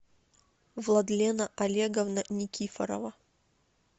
владлена олеговна никифорова